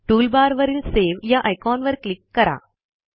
टूलबारवरील सावे या आयकॉनवर क्लिक करा